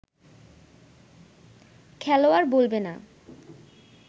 খেলোয়াড় বলবে না